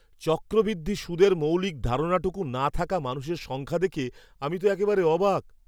চক্রবৃদ্ধি সুদের মৌলিক ধারণাটুকু না থাকা মানুষের সংখ্যা দেখে আমি তো একেবারে অবাক।